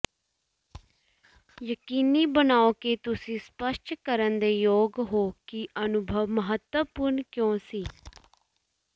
ਯਕੀਨੀ ਬਣਾਓ ਕਿ ਤੁਸੀਂ ਸਪਸ਼ਟ ਕਰਨ ਦੇ ਯੋਗ ਹੋ ਕਿ ਅਨੁਭਵ ਮਹੱਤਵਪੂਰਣ ਕਿਉਂ ਸੀ